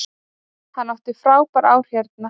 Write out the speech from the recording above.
Hann átti frábær ár hérna.